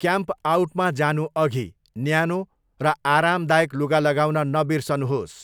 क्याम्पआउटमा जानु अघि, न्यानो र आरामदायक लुगा लगाउन नबिर्सनुहोस्।